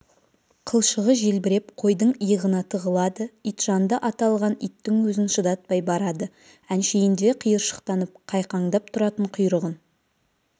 қылшығы желбіреп қойдың иығына тығылады итжанды аталған иттің өзін шыдатпай барады әншейінде шиыршықтанып қайқаңдап тұратын құйрығын